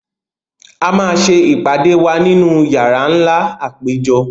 A máa ṣe ìpàdé wa nínú yàrá nlá àpéjọ